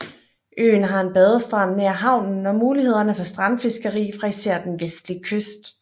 Øen har en badestrand nær havnen og mulighederne for strandfiskeri fra især den vestlige kyst